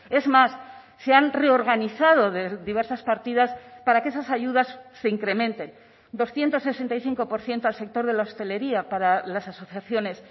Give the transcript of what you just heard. es más se han reorganizado diversas partidas para que esas ayudas se incrementen doscientos sesenta y cinco por ciento al sector de la hostelería para las asociaciones